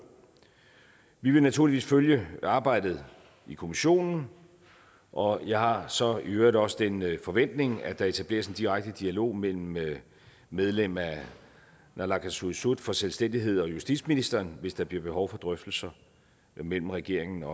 vi vil naturligvis følge arbejdet i kommissionen og jeg har så i øvrigt også den forventning at der etableres en direkte dialog mellem mellem medlem af naalakkersuisut for selvstændighed og justitsministeren hvis der bliver behov for drøftelser mellem regeringen